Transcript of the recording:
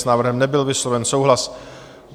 S návrhem nebyl vysloven souhlas.